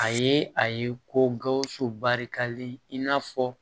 A ye a ye ko gawusu barikalen in n'a fɔ